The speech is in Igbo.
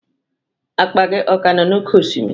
Akpa gị ọ ka nọ n'oké osimiri?